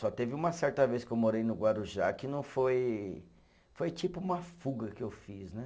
Só teve uma certa vez que eu morei no Guarujá que não foi, foi tipo uma fuga que eu fiz, né?